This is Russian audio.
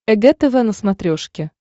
эг тв на смотрешке